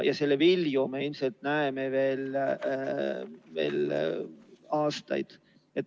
Ja selle vilju me ilmselt näeme veel aastaid.